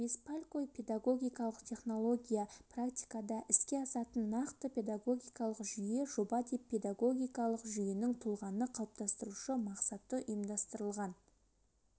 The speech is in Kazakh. беспалько педагогикалық технология практикада іске асатын нақты педагогикалық жүйе жоба деп педагогикалық жүйенің тұлғаны қалыптастырушы мақсатты ұйымдастырылған